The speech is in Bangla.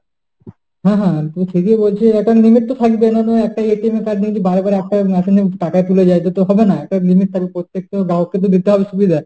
হ্যাঁ হ্যাঁ তো সেটাই বলছি একটা limit তো থাকবেই কেননা card যদি বারবার একটা machine এ টাকা তোলা যায় তো হবে না। একটা limit তো থাকবে। প্রত্যেকটা মানুষকে দিতে হবে সুবিধা।